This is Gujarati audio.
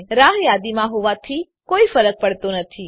તે રાહ યાદીમાં હોવાથી કોઈ ફરક પડતો નથી